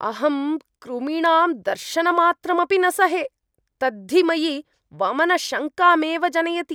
अहं कृमीणां दर्शनमात्रमपि न सहे, तद्धि मयि वमनशङ्कामेव जनयति।